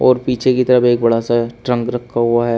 और पीछे की तरफ एक बड़ा सा है ट्रंक रखा हुआ है।